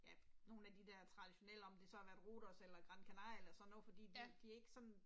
Ja, nogle af de der traditionelle om det så har været Rhodos eller Gran Canaria eller sådan noget fordi de de er ikke sådan